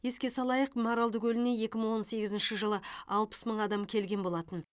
еске салайық маралды көліне екі мың он сегізінші жылы алпыс мың адам келген болатын